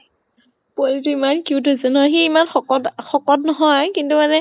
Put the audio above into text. পোৱালীটো ইমান cute হৈছে ন, সি ইমান শকত, শকত নহয় কিন্তু মানে